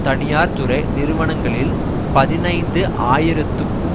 தனியார்துறை நிறுவனங்களில் பதினைந்து ஆயிரத்துக்கும்